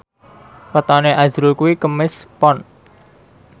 wetone azrul kuwi Kemis Pon